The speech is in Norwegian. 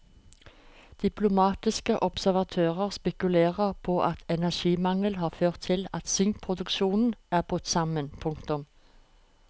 Diplomatiske observatører spekulerer på at energimangel har ført til at sinkproduksjonen er brutt sammen. punktum